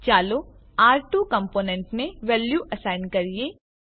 ચાલો આર2 કમ્પોનેન્ટને વેલ્યુ એસાઈન કરીએ